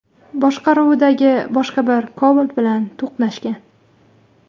boshqaruvidagi boshqa bir Cobalt bilan to‘qnashgan.